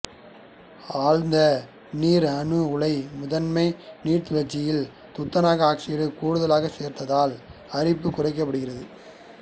அழுத்த நீர் அணு உலையின் முதன்மை நீர்ச்சுழற்சியில் துத்தநாக ஆக்சைடு கூடுதலாக சேர்ப்பதால் அரிப்பு குறைக்கப்படுகிறது